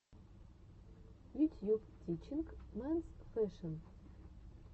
ютьюб тичинг менс фэшэн